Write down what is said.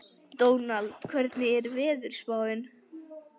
Dónald, hvernig er veðurspáin?